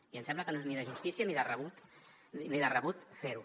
i em sembla que no és ni de justícia ni de rebut fer ho